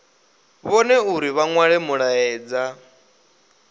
vhone uri vha nwale mulaedza